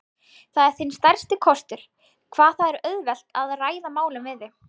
Það er þinn stærsti kostur, hvað það er auðvelt að ræða málin við þig.